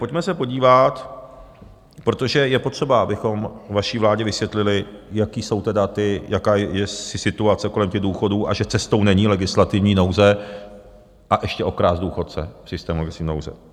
Pojďme se podívat, protože je potřeba, abychom vaší vládě vysvětlili, jaká je situace kolem těch důchodů a že cestou není legislativní nouze, a ještě okrást důchodce v systému legislativní nouze.